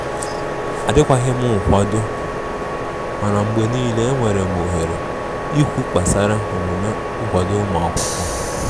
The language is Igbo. Adi kwaghim nkwado, mana mgbe nile enwerem ohere ikwụ kpasara omume nkwado ụmụakwụkwọ.